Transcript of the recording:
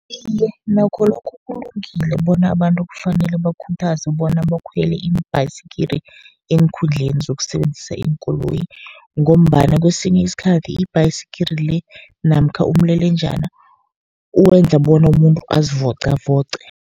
Iye, nakho lokhu kulungile bona abantu kufanele bakhuthazwe bona bakhwele iimbhasikili eenkhundleni zokusebenzisa iinkoloyi, ngombana kesinye isikhathi ibhaskili le namkha umlelenjana uwenza bona umuntu azivocavoce.